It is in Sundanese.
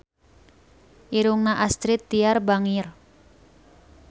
Irungna Astrid Tiar bangir